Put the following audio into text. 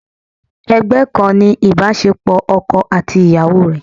Ẹgbẹ́ kan ni ibasepo ọkọ àti ìyàwó rẹ.